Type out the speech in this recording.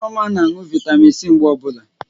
Nneoma na anụ Vị́tamị́n C mgbe ọbụla.